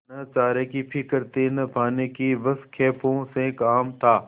न चारे की फिक्र थी न पानी की बस खेपों से काम था